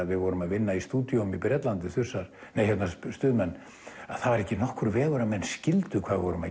við vorum að vinna í stúdíóum í Bretlandi Stuðmenn að það var ekki nokkur vegur að menn skildu hvað við vorum að